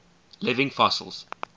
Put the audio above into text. living fossils